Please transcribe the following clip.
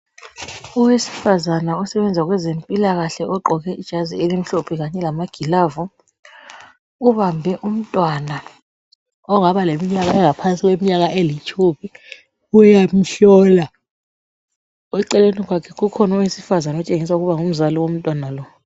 Owesifazana osebenza kwezempilakahle ogqoke ijazi elimhlophe kanye lamagilavi, ubambe umntwana ongaba leminyaka engaphansi kwetshumi uyamhlola, eceleni kwakhe kukhona owesifazana otshengisa ukuba ngumzali womntwana lo.